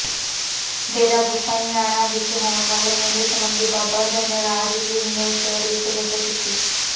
ਡੇਰਾ ਗੋਸਾਈਂਆਣਾ ਵਿੱਚ ਹੋਣ ਵਾਲੇ ਮੇਲੇ ਸਬੰਧੀ ਬਾਬਾ ਧਨਰਾਜ ਗਿਰ ਨੇ ਸ਼ਹਿਰ ਵਿੱਚ ਗਜਾ ਕੀਤੀ